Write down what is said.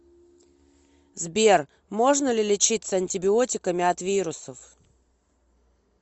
сбер можно ли лечиться антибиотиками от вирусов